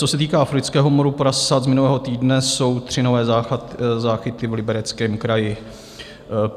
Co se týká afrického moru prasat z minulého týdne, jsou tři nové záchyty v Libereckém kraji.